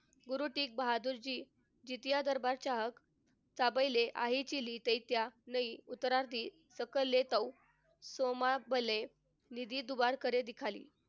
गुरु तेग बहाद्दूरजी धर्माच्या